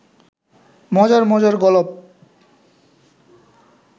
মজার মজার গলপ